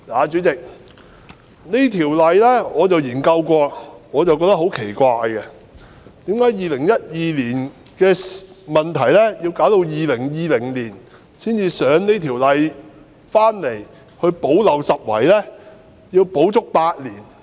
主席，我曾研究《條例草案》，我覺得很奇怪，為甚麼2012年出現的問題要需時整整8年，直到2020年才提交《條例草案》來補漏拾遺呢？